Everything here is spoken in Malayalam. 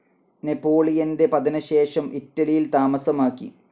നെപോളിയന്റെ പതനശേഷം ഇറ്റലിയിൽ താമസമാക്കി.